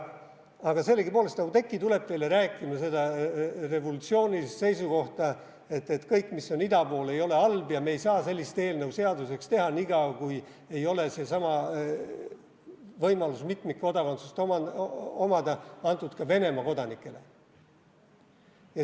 Aga sellegipoolest, Oudekki tuleb teile rääkima seda revolutsioonilist seisukohta, et kõik, mis on ida pool, ei ole halb, ja me ei saa sellist eelnõu seaduseks teha nii kaua, kui sedasama võimalust mitmikkodakondsust omada ei ole antud ka Venemaa kodanikele.